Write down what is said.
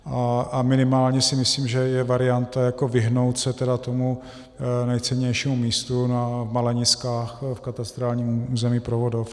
A minimálně si myslím, že je varianta vyhnout se tomu nejcennějšímu místu na Maleniskách v katastrálním území Provodov.